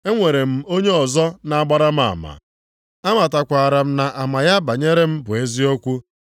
Enwere m onye ọzọ na-agbara m ama, amatakwara m na ama ya banyere m bụ eziokwu.